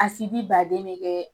Asibi baden be kɛ